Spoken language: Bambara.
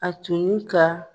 A tun ye ka